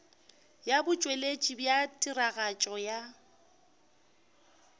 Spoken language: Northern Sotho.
ya botšweletši bja tiragatšo ya